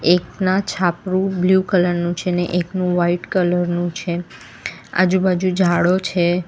એકના છાપરું blue colour નું છે ને એકનું વાઈટ કલર નું છે આજુબાજુ ઝાડો છે.